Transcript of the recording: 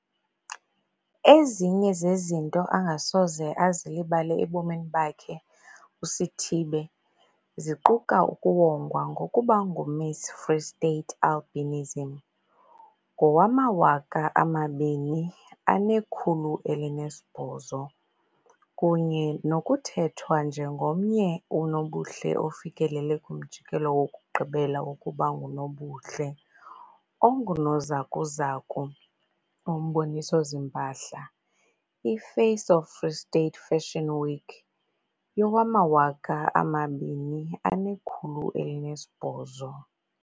Ezinye zezinto angasoze azilibale ebomini bakhe uSithibe ziquka ukuwongwa ngokuba nguMiss Free State Albinism ngowama-2018 kunye nokukhethwa njengomnye unobuhle ufikelele kumjikelo wokugqibela wokuba ngunobuhle ongunozakuzaku womboniso-zimpahla, i-Face of Free State Fashion Week yowama-2018.